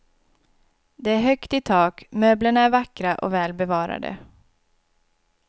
Det är högt i tak, möblerna är vackra och väl bevarade.